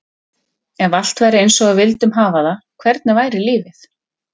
Ef allt væri eins og við vildum hafa það, hvernig væri lífið?